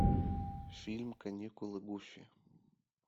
фильм каникулы гуфи